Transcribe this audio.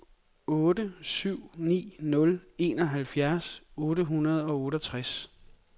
otte syv ni nul enoghalvfjerds otte hundrede og otteogtres